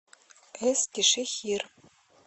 эскишехир